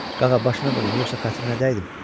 Qağa başına dönüm, yoxsa xətrinə dəydim?